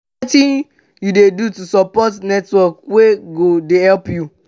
wetin you dey do to build support network wey go dey help you?